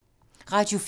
Radio 4